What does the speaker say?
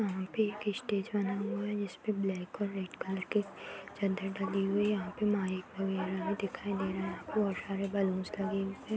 यहाँ पे एक स्टेज बना हुआ है। जिसपे ब्लैक और रेड कलर के चद्दर डली हुई है। यहां पर माइक वगैरह भी दिखाई दे रहा है। यहाँ पे बहुत सारे बलून्स लगे हुए है।